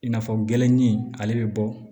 I n'a fɔ gɛrɛnnin ale bɛ bɔ